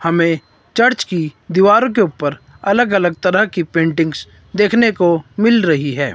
हमें चर्च की दीवारों के ऊपर अलग अलग तरह की पेंटिंग्स देखने को मिल रही है।